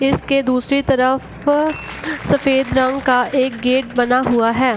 Fish के दूसरी तरफ सफ़ेद रंग का एक गेट बना हुआ है।